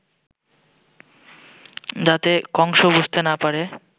যাতে কংস বুঝতে না পারে